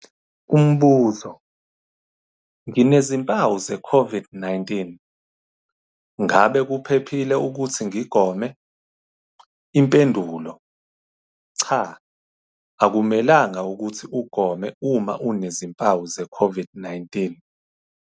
Umbuzo- Nginezimpawu ze-COVID-19, ngabe kuphephile ukuthi ngigome? Impendulo- Cha. Akumelanga ukuthi ugome uma unezimpawu zeCOVID-19.